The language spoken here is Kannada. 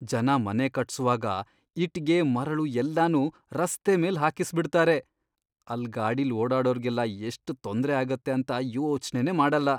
ಜನ ಮನೆ ಕಟ್ಸುವಾಗ ಇಟ್ಗೆ, ಮರಳು ಎಲ್ಲನೂ ರಸ್ತೆ ಮೇಲ್ ಹಾಕಿಸ್ಬಿಡ್ತಾರೆ, ಅಲ್ಲ್ ಗಾಡಿಲ್ ಓಡಾಡೋರ್ಗೆಲ್ಲ ಎಷ್ಟ್ ತೊಂದ್ರೆ ಆಗತ್ತೆ ಅಂತ ಯೋಚ್ನೆನೇ ಮಾಡಲ್ಲ.